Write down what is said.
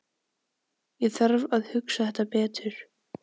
Ég þarf að hugsa þetta betur.